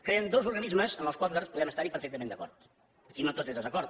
creen dos organismes amb els quals nosaltres podem estar perfectament d’acord aquí no tot és desacord